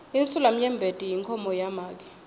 insulamnyembeti inkhomo yamake